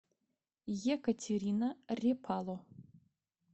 екатерина репало